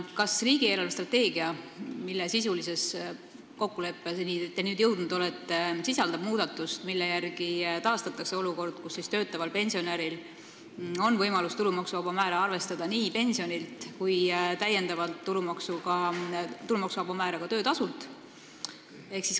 Kas riigi eelarvestrateegia, mille sisulise kokkuleppeni te nüüd olete jõudnud, sisaldab muudatust, millega taastatakse olukord, kus töötaval pensionäril on võimalus tulumaksuvaba määra arvestada nii pensionilt kui ka töötasult?